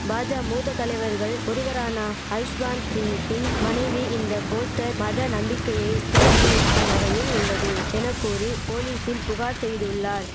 பாஜா மூத்த தலைவர்கள் ஒருவரானா ஜஸ்வாந்த் சிங்கின் மனைவி இந்த போஸ்டர் மத நம்பிக்கையை சீர்குலைக்கும் வகையில் உள்ளது என கூறி போலீசில் புகார் செய்துள்ளார்